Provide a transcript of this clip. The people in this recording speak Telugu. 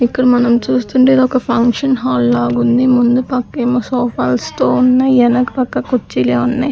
ఇక్కడ మనం చూస్తుండే ఇది ఒక ఫంక్షన్ హాల్ లాగుంది ముందు పక్కేమో సోఫా ల్సుతో ఉన్నయ్ ఎనక పక్క కుర్చీలే ఉన్నాయ్.